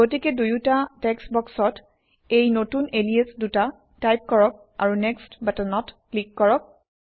গতিকে দুয়োটা টেক্সট বক্সত এই নতুন এলিয়াছ দুটা টাইপ কৰক আৰু নেক্সট বাটনত ক্লিক কৰক